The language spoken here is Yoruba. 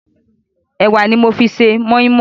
Ẹ̀wà ni mo fi ṣe mọ́ímọ́í.